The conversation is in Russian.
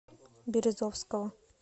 березовского